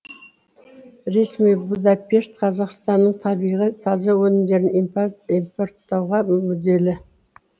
ресми будапешт қазақстанның табиғи таза өнімдерін импорттауға мүдделі